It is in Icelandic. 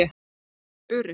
Allt upp urið